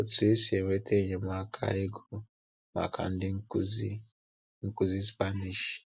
Otu esi enweta enyemaka ego maka ndị nkụzi nkụzi Spanish.